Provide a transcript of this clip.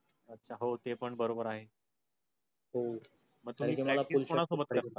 हो ते पण बरोबर आहे